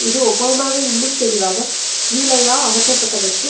இது ஒபாமாவை இன்னும் தெளிவாக ஜீலயா அகற்றப்பட்டதற்கு